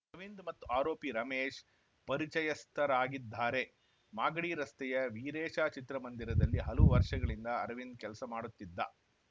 ಅರವಿಂದ್‌ ಮತ್ತು ಆರೋಪಿ ರಮೇಶ್‌ ಪರಿಚಯಸ್ಥರಾಗಿದ್ದಾರೆ ಮಾಗಡಿ ರಸ್ತೆಯ ವೀರೇಶ ಚಿತ್ರಮಂದಿರದಲ್ಲಿ ಹಲವು ವರ್ಷಗಳಿಂದ ಅರವಿಂದ್‌ ಕೆಲಸ ಮಾಡುತ್ತಿದ್ದ